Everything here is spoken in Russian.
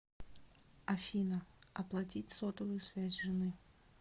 афина оплатить сотовую связь жены